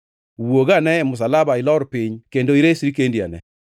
wuog ane e msalaba ilor piny kendo iresri kendi ane!”